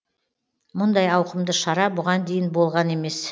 мұндай ауқымды шара бұған дейін болған емес